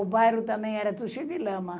O bairro também era tudo cheio de lama.